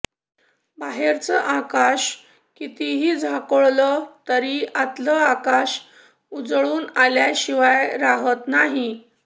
बाहेरचं आकाश कितीही झाकोळलं तरी आतलं आकाश उजळून आल्याशिवाय राहत नाही